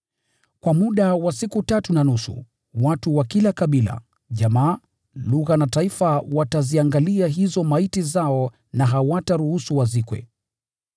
Kwa muda wa siku tatu na nusu, watu wa kila kabila, jamaa, lugha na taifa wataziangalia hizo maiti zao na hawataruhusu wazikwe.